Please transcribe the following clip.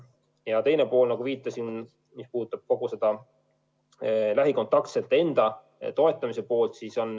Ja teine pool, nagu viitasin, puudutab kogu seda lähikontaktsete toetamise poolt.